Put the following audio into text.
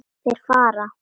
Þeir fara.